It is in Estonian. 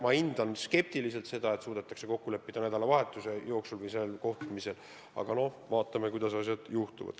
Ma suhtun skeptiliselt väljavaatesse, et suudetakse kokku leppida nädalavahetuse jooksul või sellel kohtumisel, aga no vaatame, kuidas asjad kulgevad.